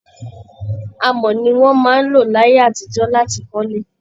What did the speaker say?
Amọ̀ ni wọ́n máa ń lò láyé àtijọ́ láti kọ́lé